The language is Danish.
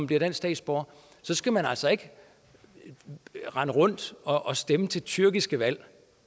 bliver dansk statsborger skal man altså ikke rende rundt og stemme til tyrkiske valg